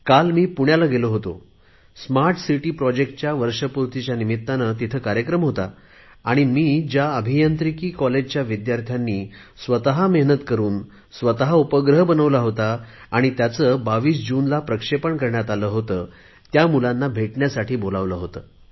काल मी पुण्याला गेलो होतो स्मार्ट सिटी प्रॉजेक्टच्या वर्षपूर्तीच्या निमित्ताने तेथे कार्यक्रम होता आणि मी ज्या अभियांत्रिकी कॉलेजच्या विद्यार्थ्यांनी स्वत मेहनत करुन स्वत उपग्रह बनवला होता आणि त्याचे 22 जूनला प्रक्षेपण करण्यात आले होते त्या मुलांना भेटण्यासाठी बोलावले होते